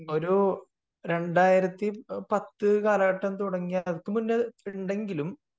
ഒരു 2010 കാലഘട്ടം തുടങ്ങി അതുക്കും മുന്നേ ഉണ്ടെങ്കിലും